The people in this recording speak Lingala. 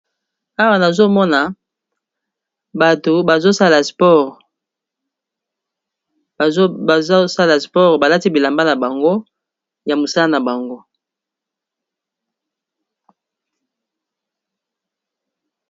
awa nazomona bato bazosala spore balati bilamba na bango ya mosala na bango